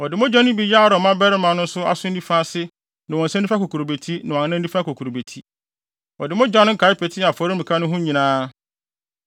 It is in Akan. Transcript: Ɔde mogya no bi yɛɛ Aaron mmabarima no nso aso nifa ase ne wɔn nsa nifa kokurobeti ne wɔn anan nifa kokurobeti. Ɔde mogya no nkae petee afɔremuka no ho nyinaa.